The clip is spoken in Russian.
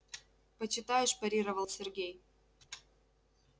почитаешь парировал сергей